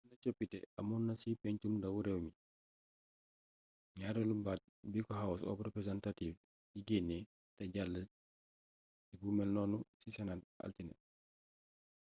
bénn coppité amoonna ci pégncum ndaw rééwmi bi gnaaréélu baat biko house of representatives yi génné té jall ci bu mélnonu ci senate altiné